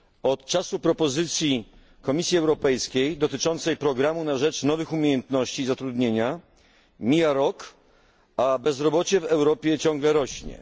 Od czasu propozycji Komisji Europejskiej dotyczącej programu na rzecz nowych umiejętności i zatrudnienia mija rok, a bezrobocie w Europie ciągle rośnie.